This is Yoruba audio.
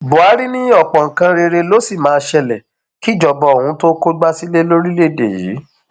buhari ní ọpọ nǹkan rere ló sì máa ṣẹlẹ kíjọba òun tóó kógbá sílé lórílẹèdè yìí